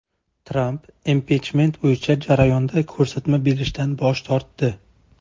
Tramp impichment bo‘yicha jarayonda ko‘rsatma berishdan bosh tortdi.